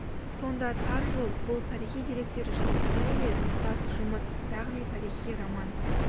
сонда тар жол-бұл тарихи деректер жиынтығы емес тұтас жұмыс яғни тарихи роман